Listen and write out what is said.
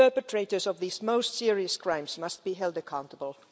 The perpetrators of these most serious crimes must be held accountable.